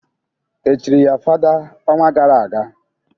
Echiri ya fada ọnwa gara aga?